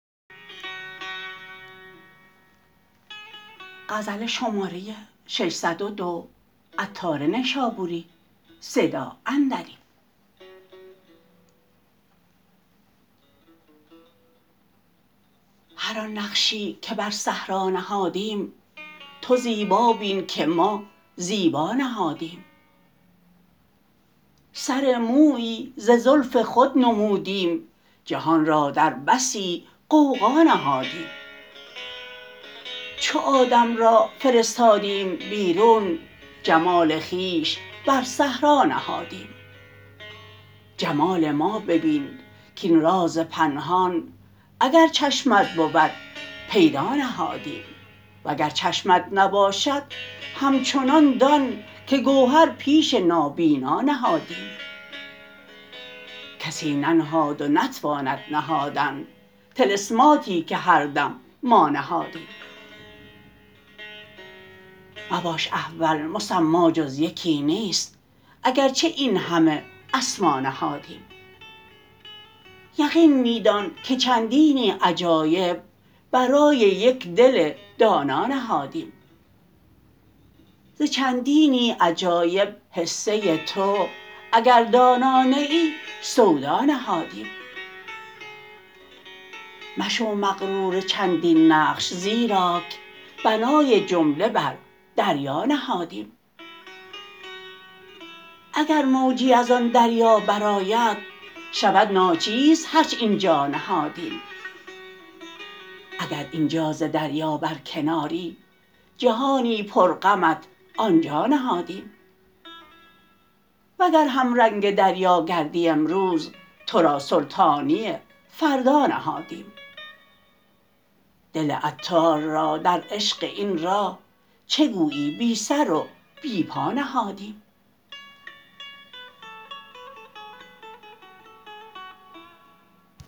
هر آن نقشی که بر صحرا نهادیم تو زیبا بین که ما زیبا نهادیم سر مویی ز زلف خود نمودیم جهان را در بسی غوغا نهادیم چو آدم را فرستادیم بیرون جمال خویش بر صحرا نهادیم جمال ما ببین کین راز پنهان اگر چشمت بود پیدا نهادیم وگر چشمت نباشد همچنان دان که گوهر پیش نابینا نهادیم کسی ننهاد و نتواند نهادن طلسماتی که هر دم ما نهادیم مباش احول مسمی جز یکی نیست اگرچه این همه اسما نهادیم یقین می دان که چندینی عجایب برای یک دل دانا نهادیم ز چندینی عجایب حصه تو اگر دانا نه ای سودا نهادیم مشو مغرور چندین نقش زیراک بنای جمله بر دریا نهادیم اگر موجی از آن دریا برآید شود ناچیز هرچ اینجا نهادیم اگر اینجا ز دریا برکناری جهانی پر غمت آنجا نهادیم وگر همرنگ دریا گردی امروز تو را سلطانی فردا نهادیم دل عطار را در عشق این راه چه گویی بی سر و بی پا نهادیم